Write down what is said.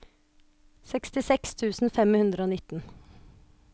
sekstiseks tusen fem hundre og nitten